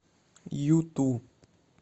юту